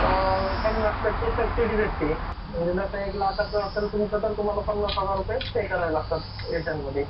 महाराष्ट्राचा इतिहास इसवीसन पूर्वच्या दुसऱ्या शतकात, महारष्ट्रानी आपल्या पहिल्या बौद्ध लेण्यांचा बांधकामाचं नोंदवलेला इतिहासात प्रवेश केला.